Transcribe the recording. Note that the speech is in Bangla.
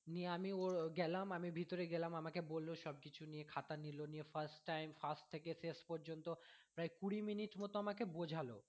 নিয়ে আমি ওর গেলাম আমি ভেতোরে গেলাম আমাকে বললো সব কিছু নিয়ে খাতা দিলো নিয়ে first time first থেকে শেষ পর্যন্ত প্রায় কুড়ি minute মতো আমাকে বোঝালো